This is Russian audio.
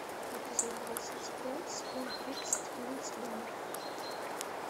эпизод двадцать пять сезон тридцать клиент всегда мертв